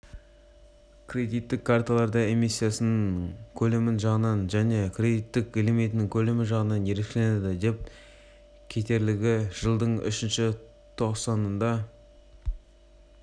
кредиттік карталары эмиссияның көлемі жағынан және кредиттік лимиттің көлемі жағынан ерекшеленеді айта кетерлігі жылдың үшінші тоқсанында